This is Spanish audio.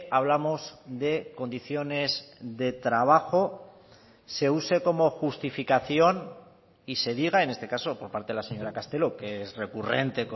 hablamos de condiciones de trabajo se use como justificación y se diga en este caso por parte de la señora castelo que es recurrente